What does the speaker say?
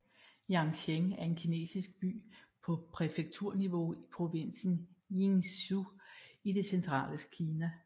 Yancheng er en kinesisk by på præfekturniveau i provinsen Jiangsu i det centrale Kina